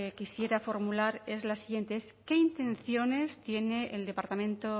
quisiera formular es la siguiente es qué intenciones tiene el departamento